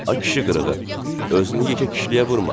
Ay kişi qırığı, özünü yekə kişiliyə vurma.